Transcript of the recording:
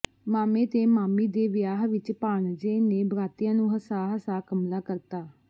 ਮਾਮੇ ਤੇ ਮਾਮੀ ਦੇ ਵਿਆਹ ਵਿੱਚ ਭਾਣਜੇ ਨੇ ਬਰਾਤੀਆਂ ਨੂੰ ਹਸਾ ਹਸਾ ਕਮਲਾ ਕਰਤਾ